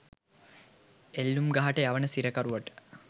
එල්ලූම් ගහට යවන සිරකරුට